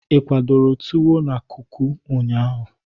Ị kwadọrọ tuwo na kuku ụnyaahụ?